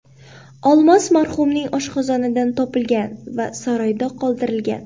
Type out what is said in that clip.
Olmos marhumning oshqozonidan topilgan va saroyda qoldirilgan.